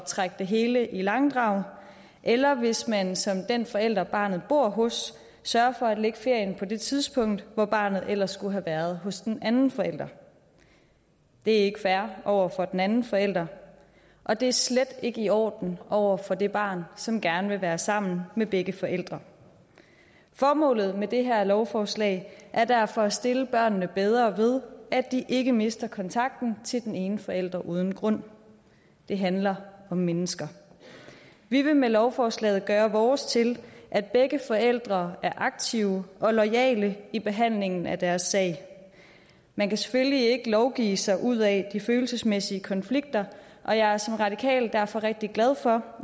trække det hele i langdrag eller hvis man som den forælder barnet bor hos sørger for at lægge ferien på det tidspunkt hvor barnet ellers skulle have været hos den anden forælder det er ikke fair over for den anden forælder og det er slet ikke i orden over for det barn som gerne vil være sammen med begge forældre formålet med det her lovforslag er derfor at stille børnene bedre ved at de ikke mister kontakten til den ene forælder uden grund det handler om mennesker vi vil med lovforslaget gøre vores til at begge forældre er aktive og loyale i behandlingen af deres sag man kan selvfølgelig ikke lovgive sig ud af de følelsesmæssige konflikter og jeg er som radikal derfor rigtig glad for